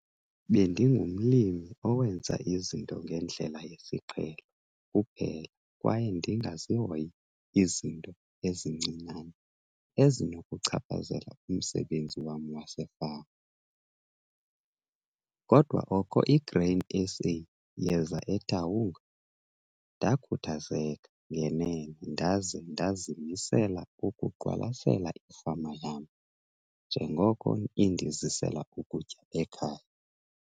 Bendingumlimi owenza izinto ngendlela yesiqhelo kuphela kwaye ndingazihoyi izinto ezincinane ezinokuchaphazela umsebenzi wam wasefama. Kodwa oko iGrain SA yeza eTaung, ndakhuthazeka ngenene ndaze ndazimisela ukuqwalasela ifama yam njengoko indizisela ukutya ekhaya.